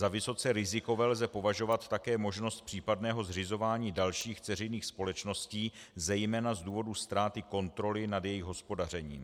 Za vysoce rizikové lze považovat také možnost případného zřizování dalších dceřiných společností, zejména z důvodu ztráty kontroly nad jejich hospodařením.